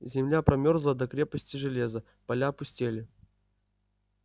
земля промёрзла до крепости железа поля опустели